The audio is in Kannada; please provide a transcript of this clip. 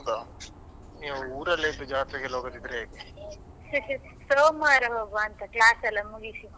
ಸೋಮವಾರ ಹೋಗ್ವ ಅಂತ class ಎಲ್ಲಾ ಮುಗಿಸಿ.